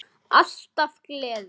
Alltaf gleði.